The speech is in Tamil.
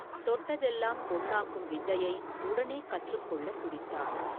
தொட்டதெல்லாம் பொன்னாக்கும் வித்தையை, உடனே கற்றுக் கொள்ளத் துடித்தான்.